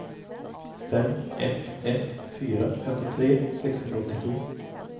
fem ett ett fyra femtiotre sexhundraåttiosju